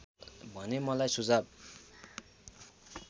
भने मलाई सुझाव